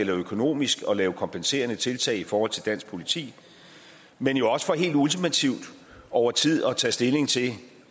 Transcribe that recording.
økonomisk at lave kompenserende tiltag i forhold til dansk politi men også for helt ultimativt over tid at tage stilling til